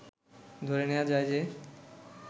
ধরে নেয়া যায় যে